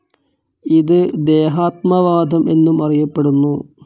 ഇത് ദേഹാത്മവാദം എന്നും അറിയപ്പെടുന്നു.